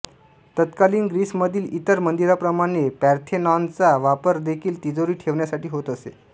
तत्कालीन ग्रीसमधील इतर मंदिरांप्रमाणे पार्थेनॉनचा वापर देखील तिजोरी ठेवण्यासाठी होत असे